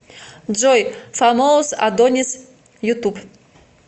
джой фамоус адонис ютуб